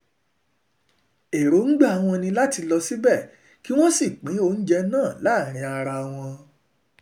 èròǹgbà èròǹgbà wọn ni láti lọ síbẹ̀ kí wọ́n sì pín oúnjẹ náà láàrin ara wa